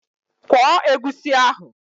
Kwọọ egusi ahụ!